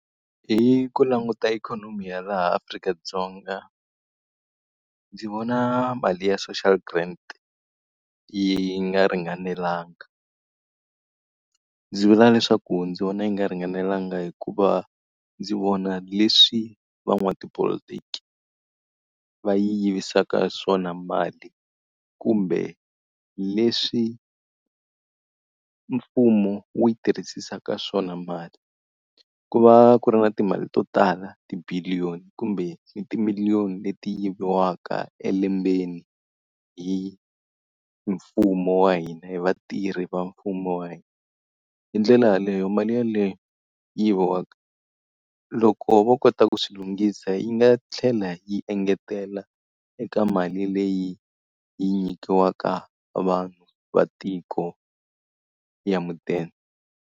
Hi ku languta ikhonomi ya laha Afrika-Dzonga ndzi vona mali ya social grant yi nga ringanelanga. Ndzi vula leswaku ndzi vona yi nga ringanelanga hikuva ndzi vona leswi van'wana tipolotiki va yi yivisaka swona mali, kumbe leswi mfumo wu yi tirhisisaka swona mali. Ku va ku ri na timali to tala ti-billion kumbe ni timiliyoni leti yiviwaka elembeni hi mfumo wa hina, hi vatirhi va mfumo wa hina. Hi ndlela yeleyo mali yeleyo yi yiviwaka, loko vo kota ku swilo lungisa yi nga tlhela yi engetela eka mali leyi yi nyikiwaka vanhu va tiko ya mudende.